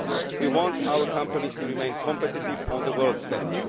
We want our companies to remain competitive on the world stage.